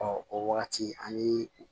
o wagati an ye